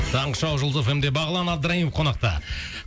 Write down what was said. таңғы шоу жұлдыз эф эм де бағлан абдраимов қонақта